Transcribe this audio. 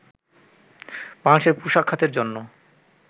বাংলাদেশের পোশাক খাতের জন্য